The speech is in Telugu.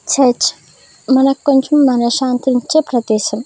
చర్చ్ మనకు కొంచెం మనశాంతి ఇచ్చే ప్రదేశం.